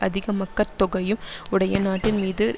அதிக மக்கட்தொகையும் உடைய நாட்டின்மீது